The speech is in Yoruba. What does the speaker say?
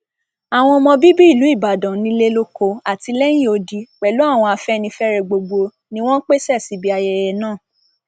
àwọn ọmọ bíbí ìlú ìbàdàn nílé lóko àti lẹyìn odi pẹlú àwọn afẹnifẹre gbogbo ni wọn pèsè síbi ayẹyẹ náà